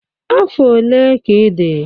Afọ ole ka ị dị?